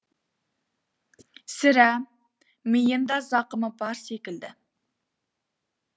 сірә миында зақымы бар секілді